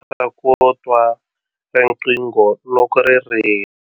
Kota ku twa riqingho loko ri rila.